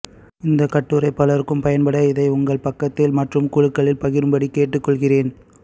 இந்த கட்டுரை பலருக்கும் பயன்பட இதை உங்கள் பக்கத்தில் மற்றும் குழுக்களில் பகிரும் படி கேட்டுக்கொள்கிறேன்